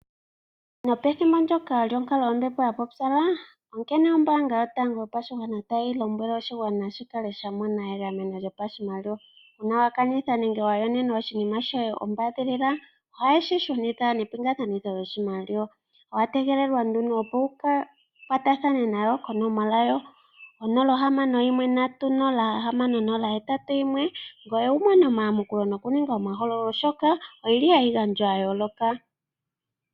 Nopethimbo ndjoka lyonkalo yombepo ya pupyala onkene ombaanga yotango yopashigwana tayi lombwele oshigwana shikale sha mona egameno lyopashimaliwa. Uuna wakanitha nenge wa yonenwa oshinima shoye ombaadhilila ohaye shi shunitha nepingakanitho yoshimaliwa. Owategelelwa nduno opo wu kwatathane nayo konomola 061306081 ngoye wumone omayamukulo noku ninga omahogololo oshoka oyili hayi gandja ya yooloka